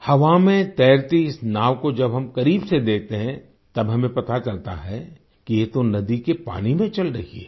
हवा में तैरती इस नाव को जब हम करीब से देखते है तब हमें पता चलता है कि ये तो नदी के पानी में चल रही है